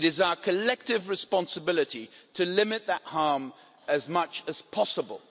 It is our collective responsibility to limit that harm as much as possible.